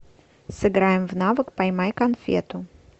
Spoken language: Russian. сыграем в навык поймай конфету